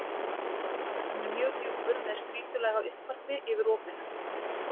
Hann er mjög djúpur með strýtulaga uppvarpi yfir opinu.